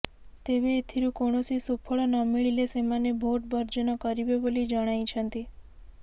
ତେବେ ଏଥିରୁ କୌଣସି ସୁଫଳ ନମିଳିଲେ ସେମାନେ ଭୋଟ ବର୍ଜନ କରିବେ ବୋଲି ଜଣାଇଛନ୍ତି